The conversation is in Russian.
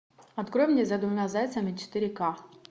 открой мне за двумя зайцами четыре к